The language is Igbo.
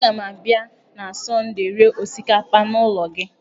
Aga m abịa na Sọndee rie osikapa n'ụlọ gị.